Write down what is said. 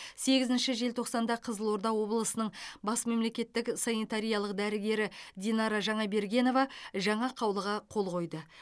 сегізінші желтоқсанда қызылорда облысының бас мемлекеттік санитариялық дәрігері динара жаңабергенова жаңа қаулыға қол қойды